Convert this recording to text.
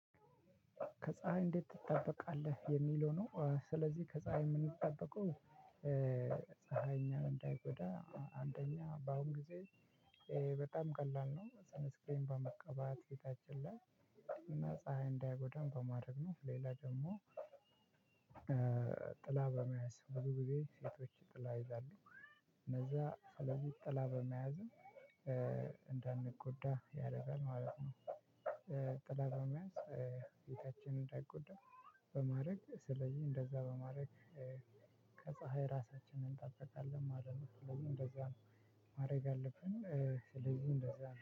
ከፀሀይ እንዴት ትጠበቃለህ? የሚለው ነው። ስለዚህ ከፀሀይ የምንጠበቀው። ፀሀይ እኛን እንዳይጎዳ አንደኛ በአሁን ጊዜ። በጣም ቀላል ነው ሰንስክርን በመቀባት ፊታችን ላይ። እና ፀሀይ እንዳይጎዳን በማድረግ ነው ሌላ ደግሞ። እ ጥላ በመያዝ ብዙ ጊዜ ሴቶች ጥላ ይዛሉ እነዛ ስለዚህ ጥላ በመያዝም እ እንዳንጎዳ ያረጋል ማለት ነው። እ ጥላ በመያዝ እ ፊታችን እንዳይጎዳ። በማድረግ ስለዚህ እንደዛ በማድረግ እ ከፀሀይ ራሳችንን እንጠብቃለን ማለት ነው። ስለዚህ እንደዛ ማረግ አለብን እ ስለዚህ እንደዛ ነው